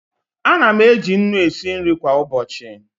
Ana m eji nnu esi nri kwa ụbọchị.